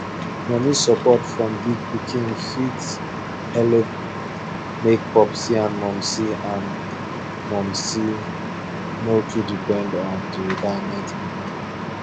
money support from big pikin fit helep make popsi and momsi and momsi nor too depend on the retirement money